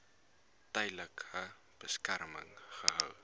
tydelike beskerming gehou